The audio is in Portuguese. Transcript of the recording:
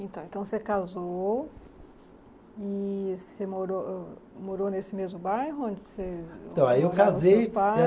Então, então você casou e você morou, morou nesse mesmo bairro onde você? Então, aí eu casei